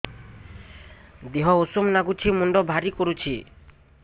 ଦିହ ଉଷୁମ ନାଗୁଚି ମୁଣ୍ଡ ଭାରି କରୁଚି